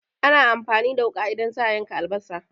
Ana amfani da wuƙa idan za'a yanka albasa